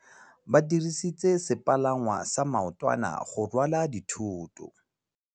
Ba dirisitse sepalangwasa maotwana go rwala dithôtô.